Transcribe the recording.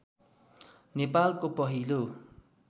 नेपालको पहिलो